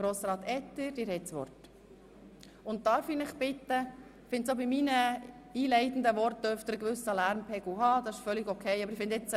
– Es ist völlig in Ordnung, wenn während meinen einleitenden Worten ein gewisser Lärmpegel herrscht.